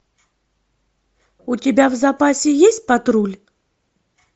у тебя в запасе есть патруль